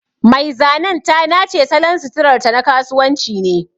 Mai zanen ta nace salon suturarta na kasuwanci ne.